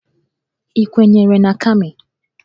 Ị kwenyere na Kami?